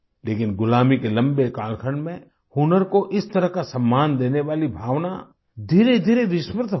लेकिन गुलामी के लंबे कालखंड में हुनर को इस तरह का सम्मान देने वाली भावना धीरेधीरे विस्मृत हो गई